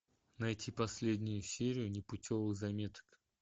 найти последнюю серию непутевых заметок